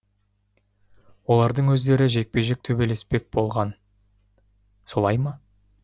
олардың өздері жекпе жек төбелеспек болған солай ма